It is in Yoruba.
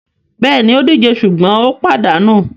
Bẹ́ẹ̀ni, ó díje sùgbọ́n ó pàdánù.